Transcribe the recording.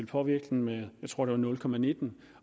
påvirkningen være jeg tror det var nul nitten